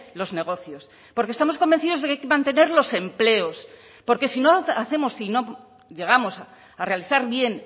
los negocios porque estamos convencidos de que hay que mantener los empleos porque si no hacemos si no llegamos a realizar bien